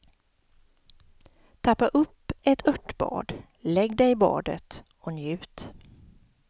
Tappa upp ett örtbad, lägg dig i badet och njut.